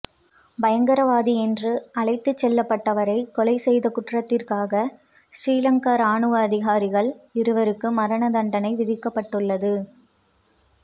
பயங்கரவாதி என்று அழைத்துச் செல்லப்பட்டவரை கொலை செய்த குற்றத்திற்காக சிறிலங்கா இராணுவ அதிகாரிகள் இருவருக்கு மரண தண்டனை விதிக்கப்பட்டுள்ளது